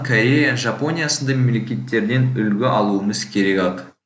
корея жапония сынды мемлекеттерден үлгі алуымыз керек ақ